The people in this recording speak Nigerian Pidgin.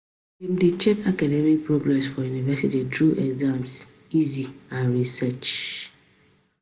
Dem dey check academic progress for university through exam essay and research